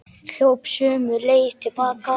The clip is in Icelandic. Hljóp sömu leið til baka.